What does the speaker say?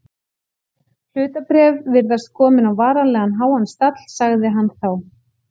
Hlutabréf virðast komin á varanlega háan stall sagði hann þá.